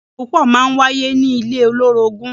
Ìjà púpọ̀ máa wáyé ní ilé olórogún.